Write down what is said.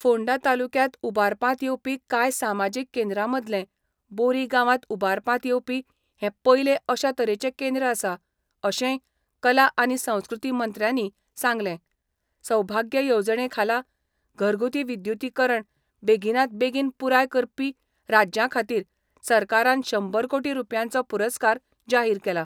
फोंडा तालुक्यांत उबारपांत येवपी कांय सामाजीक केंद्रा मदलें बोरी गावांत उबारपांत येवपी हे पयले अशा तरेचे केंद्र आसा, अशेंय कला आनी संस्कृती मंत्र्यानी सांगले सौभाग्य येवजणे खाला घरगुती विद्युतीकरण बेगीनात बेगीन पुराय करपी राज्यांखातीर सरकारान शंबर कोटी रुपयांचो पुरस्कार जाहिर केला.